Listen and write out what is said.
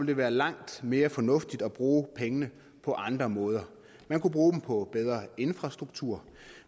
det være langt mere fornuftigt at bruge pengene på andre måder man kunne bruge dem på bedre infrastruktur og